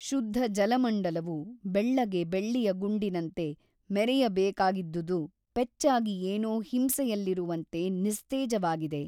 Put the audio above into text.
ಶುದ್ಧ ಜಲಮಂಡಲವು ಬೆಳ್ಳಗೆ ಬೆಳ್ಳಿಯ ಗುಂಡಿನಂತೆ ಮೆರೆಯಬೇಕಾಗಿದ್ದುದು ಪೆಚ್ಚಾಗಿ ಏನೋ ಹಿಂಸೆಯಲ್ಲಿರುವಂತೆ ನಿಸ್ತೇಜವಾಗಿದೆ.